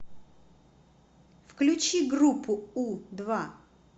включи группу у два